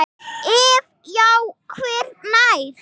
ef já hvenær??